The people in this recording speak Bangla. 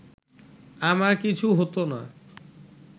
আমার কিছু হতো না